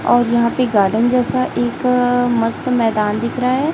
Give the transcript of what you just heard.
और यहां पे गार्डन जैसा एक मस्त मैदान दिख रहा है।